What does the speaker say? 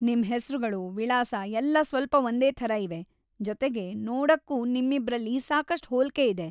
ನಿಮ್ ಹೆಸ್ರುಗಳು, ವಿಳಾಸ ಎಲ್ಲ ಸ್ವಲ್ಪ ಒಂದೇ ಥರ ಇವೆ, ಜೊತೆಗೆ, ನೋಡಕ್ಕೂ ನಿಮ್ಮಿಬ್ರಲ್ಲಿ ಸಾಕಷ್ಟ್‌ ಹೋಲ್ಕೆ ಇದೆ.